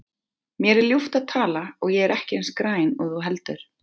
Mér er ljúft að tala og ég er ekki eins græn og þú heldur.